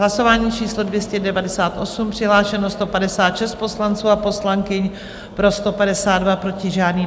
Hlasování číslo 298, přihlášeno 156 poslanců a poslankyň, pro 152, proti žádný.